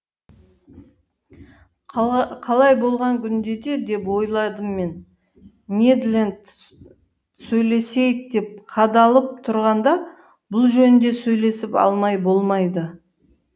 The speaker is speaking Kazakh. қалай болған күнде де деп ойладым мен нед ленд сөйлесейік деп қадалып тұрғанда бұл жөнінде сөйлесіп алмай болмайды